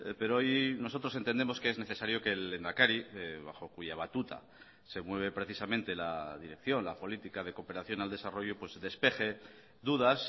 pero hoy nosotros entendemos que es necesario que el lehendakari bajo cuya batuta se mueve precisamente la dirección la política de cooperación al desarrollo despeje dudas